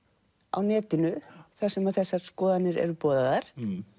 á netinu þar sem þessar skoðanir eru boðaðar